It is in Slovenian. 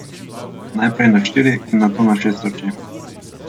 Najprej na štiri in nato na šest oči.